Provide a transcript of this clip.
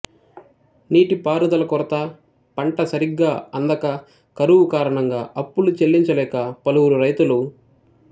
నీటి పారుదల కొరత పంట సరిగా అందక కరువు కారణంగా అప్పులు చెల్లించలేక పలువురు రైతులు